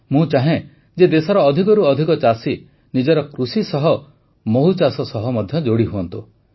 ମୁଁ ଚାହେଁ ଯେ ଦେଶର ଅଧିକରୁ ଅଧିକ ଚାଷୀ ନିଜର କୃଷି ସହ ମହୁଚାଷ ସହ ମଧ୍ୟ ଯୋଡ଼ି ହୁଅନ୍ତୁ